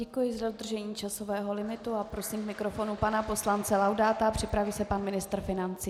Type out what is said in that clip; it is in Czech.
Děkuji za dodržení časového limitu a prosím k mikrofonu pana poslance Laudáta, připraví se pan ministr financí.